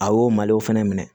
A y'o malo fɛnɛ minɛ